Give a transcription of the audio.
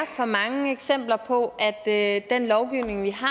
for mange eksempler på at den lovgivning vi har